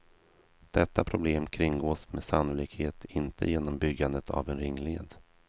Detta problem kringgås med sannolikhet inte genom byggandet av en ringled.